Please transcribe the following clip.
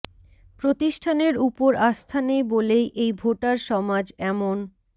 প্রতিষ্ঠানের উপর আস্থা নেই বলেই এই ভোটার সমাজ এমন